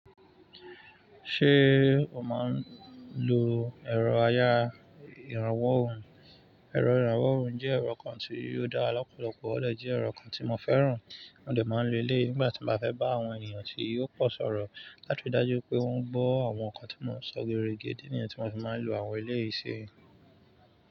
Ṣé o máa ń lo ẹ̀rọ ayára ìrànwọ́ ohùn? Ẹ̀rọ ìrànwọ́ ohùn jẹ́ ẹ̀rọ kan tí ò dára lọ́pọ̀lọpọ̀, ó dè jẹ́ ẹ̀rọ kan tí mo fẹ́ràn. Mo de máa ń lo eléyi nígbà tí n bá fẹ́ bá àwọn ènìyàn tí ò pọ̀ sọ̀rọ̀, láti ri dájú pé wọ́n gbọ́ àwọn nǹkan tí mò ń sọ gere ge. Idi nìyẹn tí mo fi máa ń lo àwọn eléyìí si.